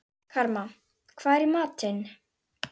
Karma, hvað er í matinn?